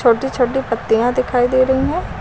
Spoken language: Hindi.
छोटी छोटी पत्तियां दिखाई दे रहीं हैं।